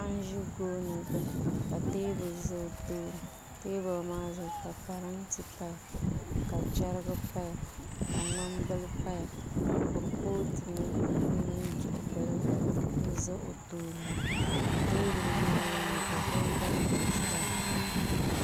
Paɣa n ʒi gooni gbuni ka teebuli maa zuɣu ka parantɛ paya ka chɛrigi paya ka ŋmani bili paya ka kuripooti mini duɣu bili gba n ʒɛ o tooni maa teebuli maa loŋni ka kunkoŋ bili ʒɛya